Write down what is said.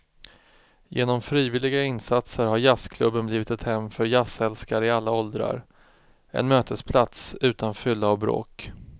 Genom frivilliga insatser har jazzklubben blivit ett hem för jazzälskare i alla åldrar, en mötesplats utan fylla och bråk.